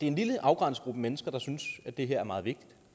en lille afgrænset gruppe mennesker der synes at det her er meget vigtigt